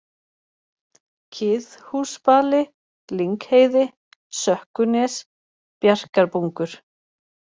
Kiðhúsbali, Lyngheiði, Sökkunes, Bjarkarbungur